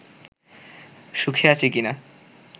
সুখ আছে কি না